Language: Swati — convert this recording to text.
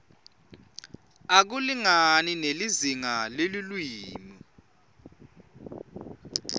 akulingani nelizingaa lelulwimi